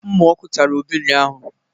Mnụ ọkụ tara Obi ụnyahụ